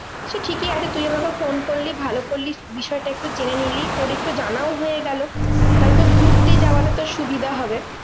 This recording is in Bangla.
সে ঠিকই আছে তুই আমাকে ফোন করলি ভালো করলি বিষয়টা একটু জেনে নিলি। তোর একটু জানাও হয়ে গেলো, তাহলে তোর ঘুরতে যাওয়াটা তোর সুবিধা হবে।